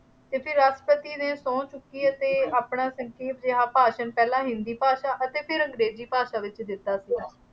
ਅਤੇ ਫਿਰ ਰਾਸ਼ਟਰਪਤੀ ਨੇ ਸਹੁੰ ਚੁੱਕੀ ਅਤੇ ਆਪਣਾ ਸੰਖੇਪ ਜਿਹਾ ਭਾਸ਼ਨ ਪਹਿਲਾਂ ਹਿੰਦੀ ਭਾਸ਼ਾ ਵਿੱਚ ਅਤੇ ਫਿਰ ਅੰਗਰੇਜ਼ੀ ਭਾਸ਼ਾ ਵਿੱਚ ਦਿੱਤਾ ਸੀ।